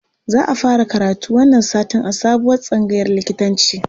Za a fara karatu wannan satin a sabuwar tsangayar likitanci